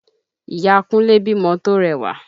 Ìya Kúnlé bímọ to rẹwà